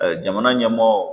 Jamana ɲɛmɔɔw